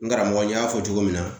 N karamɔgɔ n y'a fɔ cogo min na